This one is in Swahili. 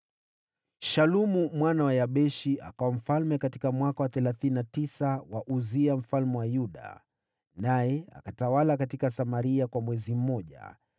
Shalumu mwana wa Yabeshi akawa mfalme katika mwaka wa thelathini na tisa wa Uzia mfalme wa Yuda, naye akatawala katika Samaria kwa mwezi mmoja.